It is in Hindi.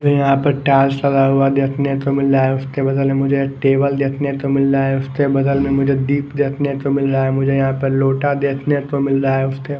यहाँ पर टाल सला हुआ देखने को मिल रहा है उसके बदल में मुझे टेबल देखने को मिल रहा है उसके बदल में मुझे दीप देखने को मिल रहा है मुझे यहाँ पर लोटा देखने को मिल रहा है उस दि --